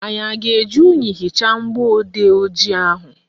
Anyị a ga-eji unyi hichaa mgbọodee ojii ahụ?